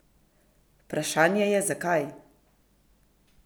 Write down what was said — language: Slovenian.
Vprašanje je, zakaj?